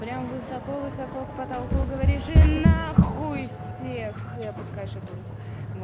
прям высоко высоко к потолку говоришь и нахуй всех и запускаешь эту руку вот